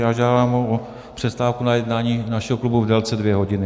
Já žádám o přestávku na jednání našeho klubu v délce dvě hodiny.